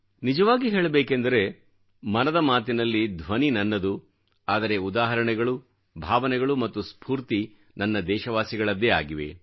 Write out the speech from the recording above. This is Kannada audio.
ನಿಜವಾಗಿ ಹೇಳಬೇಕೆಂದರೆ ಮನದ ಮಾತಿನಲ್ಲಿ ಧ್ವನಿ ನನ್ನದು ಆದರೆ ಉದಾಹರಣೆಗಳು ಭಾವನೆಗಳು ಮತ್ತು ಸ್ಫೂರ್ತಿ ನನ್ನ ದೇಶವಾಸಿಗಳದ್ದೇ ಆಗಿವೆ